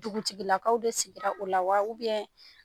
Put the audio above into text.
Dugutigilakaw de sigira o la wa